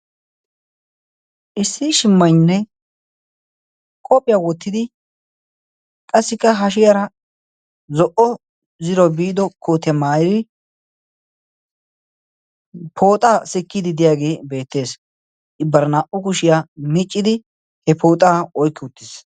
issi shimmaynne qoohphiyaa wottidi qassikka hashiyaara zo'o ziro biido koote maayri pooxaa sikkiidi deyaagee beettees. ibbara naa"u kushiyaa miccidi he pooxaa oykki uttiis.